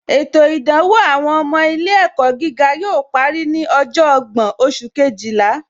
Ètò ìdánwò àwọn ọmọ ilé ẹ̀kọ́ gíga yóò parí ní ọjọ́ ọgbọ́n oṣù Kejìlá